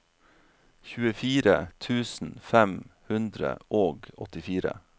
tjuefire tusen fem hundre og åttifire